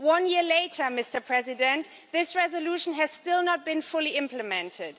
One year later, Mr President, this resolution has still not been fully implemented.